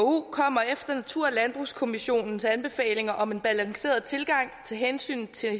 kommer efter natur og landbrugskommissionens anbefalinger om en balanceret tilgang til hensynet til